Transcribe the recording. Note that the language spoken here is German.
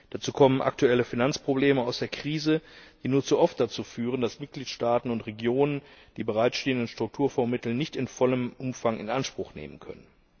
Dazu kommen aktuelle Finanzprobleme aus der Krise, die nur zu oft dazu führen, dass Mitgliedstaaten und Regionen die bereitstehenden Strukturfondsmittel nicht in vollem Umfang in Anspruch nehmen können.